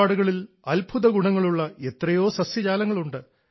നമ്മുടെ ചുറ്റുപാടുകളിൽ അത്ഭുത ഗുണങ്ങളുള്ള എത്രയോ സസ്യജാലങ്ങളുണ്ട്